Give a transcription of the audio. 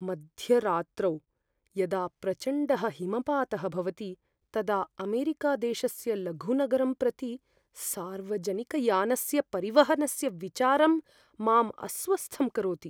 मध्यरात्रौ यदा प्रचण्डः हिमपातः भवति तदा अमेरिकादेशस्य लघुनगरं प्रति सार्वजनिकयानस्य परिवहनस्य विचारं माम् अस्वस्थं करोति।